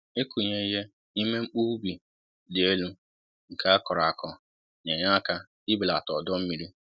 ịkụ nye ihe n'ime mkpu ubi dị élú nke a kọrọ akọ ,na enye áká ị belata ọdọ mmiri